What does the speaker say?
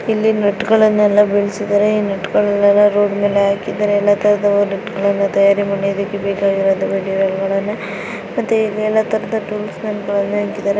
ಇಲ್ಲಿ ನಟ್ ಗಳನ್ನೆಲ್ಲ ಬೀಳಿಸಿದ್ದಾರೆ ರೋಡ ಮೇಲೆ ಹಾಕಿದ್ದಾರೆ ಎಲ್ಲ ರೀತಿಯ್ ನಟ್ ಗಳನ್ನೂ ತಯಾರಿ ಮಾಡಿ ಇದಕ್ಕೆ ಬೇಕಾಗಿರುವಂತಹ ಮೆಟೀರಿಯಲ್ ಗಳನ್ನೂ ಹಾಗೂ ಟೂಲ್ಸ್ ಗಳಿವೆ.